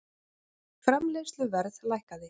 Framleiðsluverð lækkaði